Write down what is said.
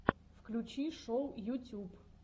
включи шоу ютюб